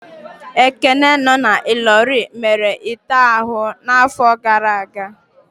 Ekene no na Illorin mere m ite ahụ n'afọ gara aga